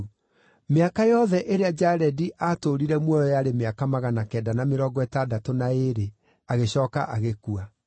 Mĩaka yothe ĩrĩa Jaredi aatũũrire muoyo yarĩ mĩaka magana kenda na mĩrongo ĩtandatũ na ĩĩrĩ, agĩcooka agĩkua.